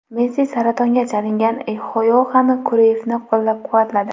Messi saratonga chalingan Yoxan Kruiffni qo‘llab-quvvatladi.